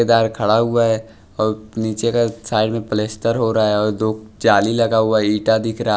खड़ा हुआ है और नीचे का साइड में प्लेस्टर हो रहा है और दो जाली लगा हुआ है ईटा दिख रहा --